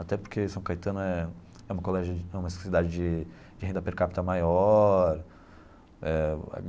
Até porque São Caetano é é um colégio é uma cidade de de renda per capita maior eh.